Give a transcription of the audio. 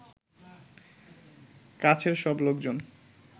কাছের সব লোকজন